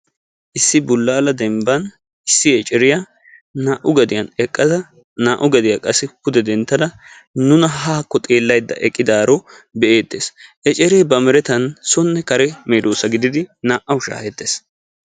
Issi bulaala dembani issi ecceriya naa"u geddiyanni eqqada naa"u geddiya qassi pude denttada nuna haa xeelaydda eqqidaro be'etees. Eccere ba merettani soone kare medoossa geetetidi naa"awu shahettees.